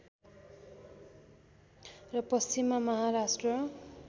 र पश्चिममा महाराष्ट्र